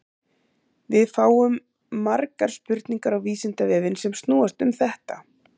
Við fáum margar spurningar á Vísindavefinn sem snúast um þetta.